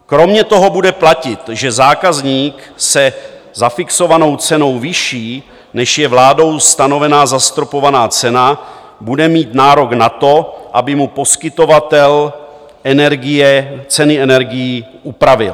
Kromě toho bude platit, že zákazník se zafixovanou cenou vyšší, než je vládou stanovená zastropovaná cena, bude mít nárok na to, aby mu poskytovatel energie ceny energií upravil.